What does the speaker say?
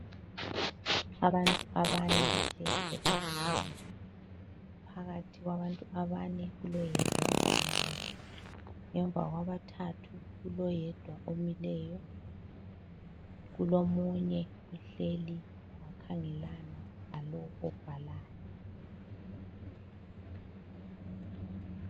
Abantu abane bahleli etafuleni. Phakathi kwabantu abane kuloyedwa obhalayo. Ngemva kwabathathu kuloyedwa omileyo. Kulomunye ohleli wakhangelana lalowu obhalayo.